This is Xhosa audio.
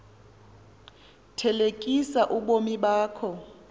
thelekisa ubomi bakho